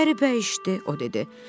Qəribə işdir, o dedi.